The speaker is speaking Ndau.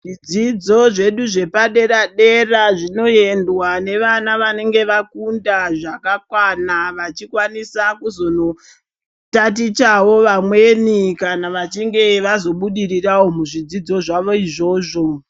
Zvidzidzo zvedu zvepadera dera zvinoendwa nevana vanofunda zvakakwana vachikwanisa kuzondotatichawo pamweni kana vachinge vabudirirawo muzvidzidzo zvawo izvozvo.